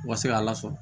U ka se k'a lasɔrɔ